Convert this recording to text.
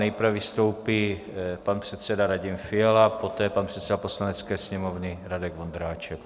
Nejprve vystoupí pan předseda Radim Fiala, poté pan předseda Poslanecké sněmovny Radek Vondráček.